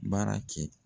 Baara kɛ